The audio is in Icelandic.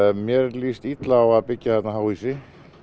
mér líst illa á að byggja hérna háhýsi